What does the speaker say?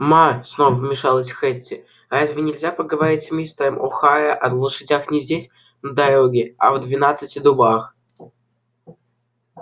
ма снова вмешалась хэтти разве нельзя поговорить с мистером охара о лошадях не здесь на дороге а в двенадцати дубах